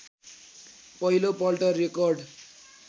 पहिलोपल्ट रेकर्ड